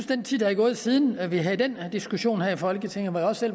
den tid der er gået siden vi havde diskussionen her i folketinget hvor jeg også